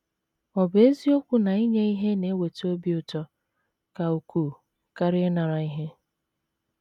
Ọ̀ bụ eziokwu na inye ihe na - eweta obi ụtọ ka ukwuu karịa ịnara ihe?